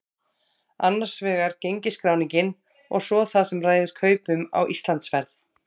Annars vegar gengisskráningin og svo það sem ræður kaupum á Íslandsferð.